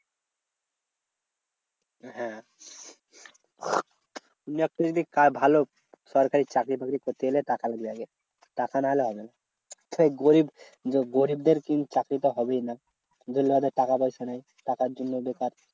হ্যাঁ তুই একটা যদি ভালো সরকারি চাকরি বাকরি করতে গেলে টাকা লাগে। টাকা না হলে হবে না। সেই গরিব যে গরিবদের কিন্তু চাকরি তো হবেই না। যে লোকের টাকা পয়সা নেই, টাকার জন্য বেকার